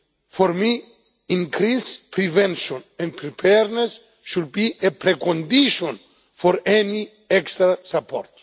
For me, increased prevention and preparedness should be a precondition for any extra support.